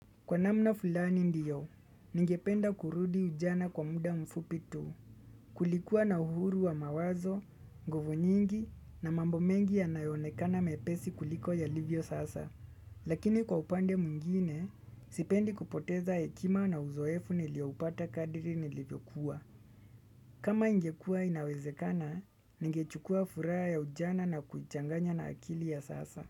Kwa namna fulani ndiyo, ningependa kurudi ujana kwa muda mfupi tu, kulikuwa na uhuru wa mawazo, ngovu nyingi na mambo mengi yanayonekana mepesi kuliko yalivyo sasa. Lakini kwa upande mwingine, sipendi kupoteza hekima na uzoefu nilioupata kadri nilivyokuwa. Kama ingekua inawezekana, ningechukua furaha ya ujana na kuichanganya na akili ya sasa.